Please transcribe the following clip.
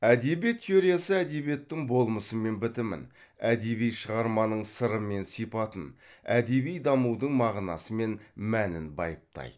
әдебиет теориясы әдебиеттің болмысы мен бітімін әдеби шығарманың сыры мен сипатын әдеби дамудың мағынасы мен мәнін байыптайды